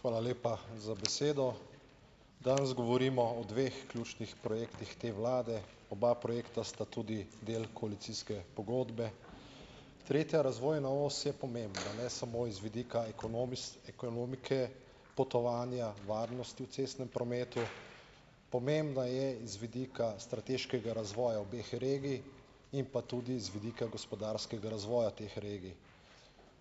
Hvala lepa za besedo. Danes govorimo o dveh ključnih projektih te vlade. Oba projekta sta tudi del koalicijske pogodbe. Tretja razvojna os je pomembna ne samo iz vidika ekonomike, potovanja, varnosti v cestnem prometu, pomembna je iz vidika strateškega razvoja obeh regij in pa tudi z vidika gospodarskega razvoja teh regij.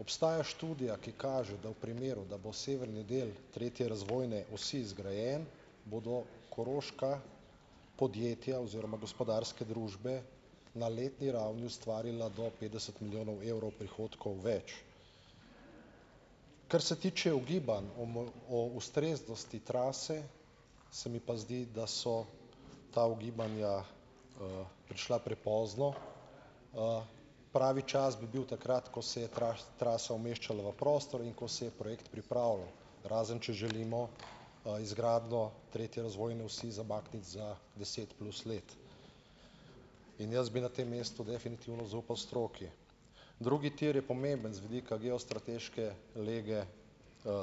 Obstaja študija, ki kaže, da v primeru, da bo severni del tretje razvojne osi zgrajen, bodo koroška podjetja oziroma gospodarske družbe na letni ravni ustvarila do petdeset milijonov evrov prihodkov več. Kar se tiče ugibanj o o ustreznosti trase, se mi pa zdi, da so ta ugibanja, prišla prepozno. Pravi čas bi bil takrat, ko se je trasa umeščala v prostor in ko se je projekt pripravilo. Razen če želimo, izgradnjo tretje razvojne osi zamakniti za deset plus let. In jaz bi na tem mestu definitivno zaupal stroki. Drugi tir je pomemben z vidika geostrateške lege,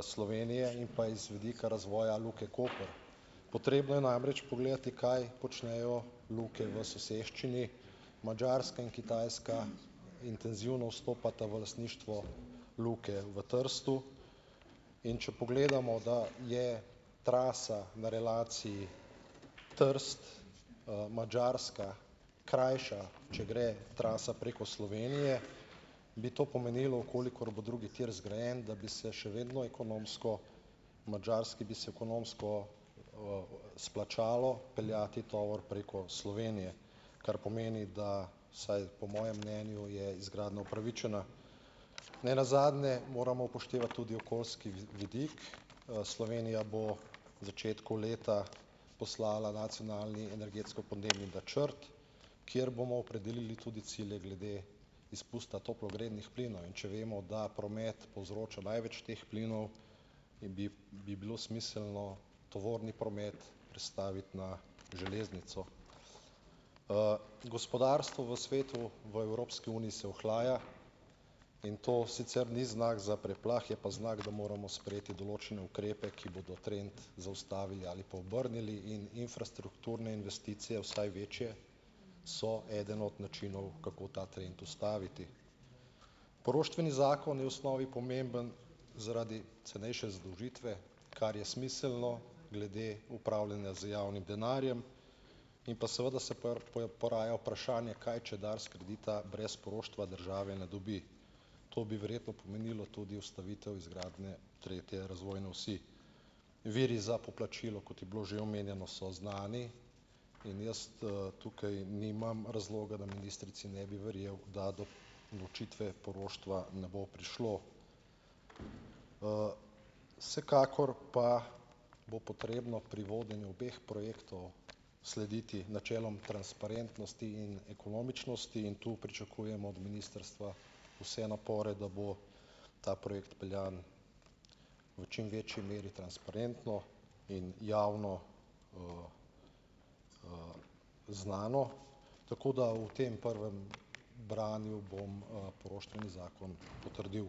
Slovenije in pa z vidika razvoja Luke Koper. Potrebno je namreč pogledati, kaj počnejo luke v soseščini, Madžarska in Kitajska intenzivno vstopata v lastništvo luke v Trstu, in če pogledamo, da je trasa na relaciji Trst, Madžarska krajša, če gre trasa preko Slovenije, bi to pomenilo, v kolikor bo drugi tir zgrajen, da bi se še vedno ekonomsko Madžarski bi se ekonomsko, splačalo peljati tovor preko Slovenije. Kar pomeni, da, vsaj po mojem mnenju, je izgradnja upravičena. Ne nazadnje moramo upoštevati tudi okoljski vidik. Slovenija bo v začetku leta poslala nacionalni energetsko-podnebni načrt, kjer bomo opredelili tudi cilje glede izpusta toplogrednih plinov. In če vemo, da promet povzroča največ teh plinov, bi bi bi bilo smiselno tovorni promet prestaviti na železnico. Gospodarstvo v svetu v Evropski uniji se ohlaja, in to sicer ni znak za preplah, je pa znak, da moramo sprejeti določene ukrepe, ki bodo trend zaustavili ali pa obrnili, in infrastrukturne investicije, vsaj večje, so eden od načinov, kako ta trend ustaviti. Poroštveni zakon je v osnovi pomemben zaradi cenejše zadolžitve, kar je smiselno glede upravljanja z javnim denarjem, in pa seveda se poraja vprašanje, kaj če Dars kredita brez poroštva države ne dobi. To bi verjetno pomenilo tudi ustavitev izgradnje tretje razvojne osi. Viri za poplačilo, kot je bilo že omenjeno, so znani, in jaz, tukaj nimam razloga, da ministrici ne bi verjel, da do odločitve poroštva ne bo prišlo. Vsekakor pa bo potrebno pri vodenju obeh projektov slediti načelom transparentnosti in ekonomičnosti, in tu pričakujem od ministrstva vse napore, da bo ta projekt peljan v čim večji meri transparentno in javno, znano, tako da v tem prvem branju bom, poroštveni zakon potrdil.